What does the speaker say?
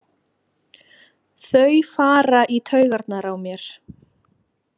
Þau fara í taugarnar á mér.